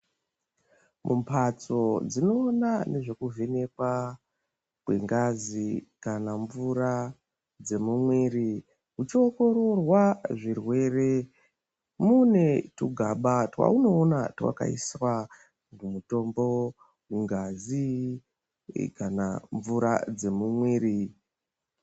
Mumbatso dzinoona nezvekuvhenekwa ngwengazi kana mvura dzemumwiri kuchiongororwa zvirwerw mune twugaba twaunoona twakaiswa mutombo, ngazi kana mvura dzemumwiri.